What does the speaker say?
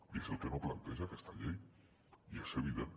i és el que no planteja aquesta llei i és evident